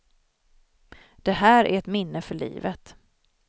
Det här är ett minne för livet.